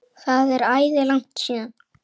Það er æði langt síðan.